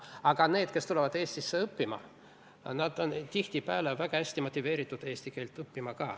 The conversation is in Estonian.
Aga inimesed, kes tulevad Eestisse õppima, on tihtipeale väga hästi motiveeritud ka eesti keelt õppima.